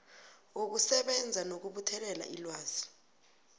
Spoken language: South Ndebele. wokusebenza nokubuthelela ilwazi